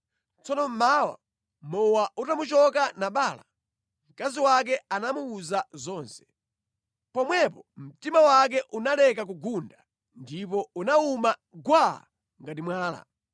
Tsono mmawa, mowa utamuchoka Nabala, mkazi wake anamuwuza zonse. Pomwepo mtima wake unaleka kugunda ndipo unawuma gwaa ngati mwala.